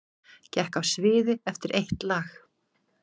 Gekk af sviði eftir eitt lag